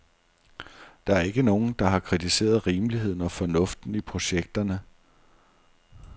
Der er ikke nogen, der har kritiseret rimeligheden og fornuften i projekterne.